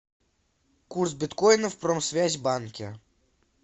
курс биткоина в промсвязьбанке